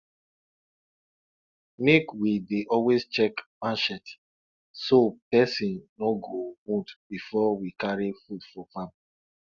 make we dey always check marchet so person no go wound before we carry food for farm